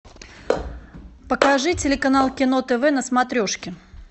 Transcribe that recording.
покажи телеканал кино тв на смотрешке